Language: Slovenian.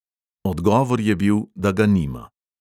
Odgovor je bil, da ga nima.